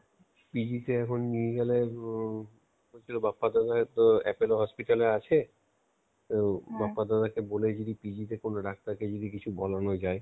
PG এখন নিয়ে গেলে অম বাপ্পাদার Appolo Hospital-লে আছে তাই বাপ্পাদাকে বলে যদি PG তে কোনো ডাক্তারকে যদি কিছু বলানো যায়.